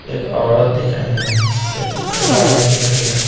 एक औरत दिख रही है मरदाना दिख रही है।